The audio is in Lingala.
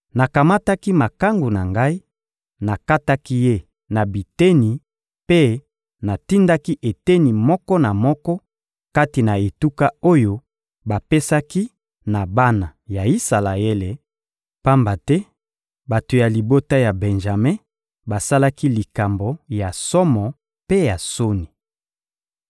Nakamataki makangu na ngai, nakataki ye na biteni mpe natindaki eteni moko na moko kati na etuka oyo bapesaki na bana ya Isalaele, pamba te bato ya libota ya Benjame basalaki likambo ya somo mpe ya soni.